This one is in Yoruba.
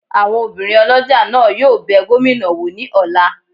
Awọn òbirin olójá náà yóò bẹ gomina wọ ni ọla